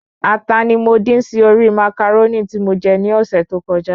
Ata ni mo dín sí orí Màcàrónì tí mo je ní ọ̀sẹ̀ tó kọjá